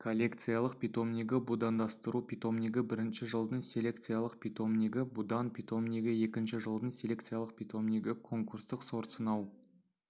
коллекциялық питомнигі будандастыру питомнигі бірінші жылдың селекциялық питомнигі будан питомнигі екінші жылдың селекциялық питомнигі конкурстық сортсынау